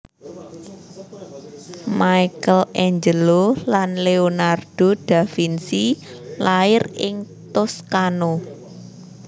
Michaelangelo lan Leonardo da Vinci lair ing Toscano